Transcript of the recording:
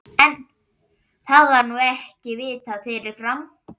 En, það var nú ekki vitað fyrirfram!